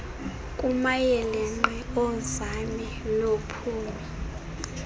kumayeelenqe oonzame noophumi